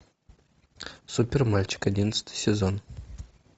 супер мальчик одиннадцатый сезон